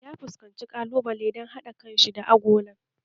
Ya fuskanci ƙalubale a gare shi dan haɗa kan da agolan